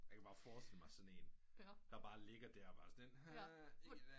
Jeg kan bare forstille mig sådan der bare ligger der og bare sådan lidt